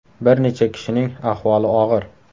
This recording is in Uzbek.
Bir necha kishining ahvoli og‘ir.